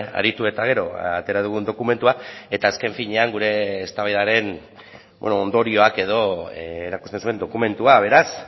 aritu eta gero atera dugun dokumentua eta azken finean gure eztabaidaren ondorioak edo erakusten zuen dokumentua beraz